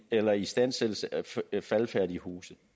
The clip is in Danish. eller istandsættelse af faldefærdige huse